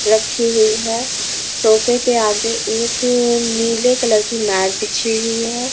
रखी हुई है सोफे के आगे एक नीले कलर की मैट बिछी हुई है।